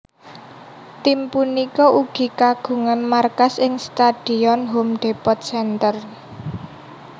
Tim punika ugi kagungan markas ing Stadion Home Depot Center